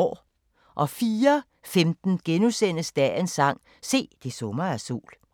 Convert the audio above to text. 04:15: Dagens sang: Se, det summer af sol *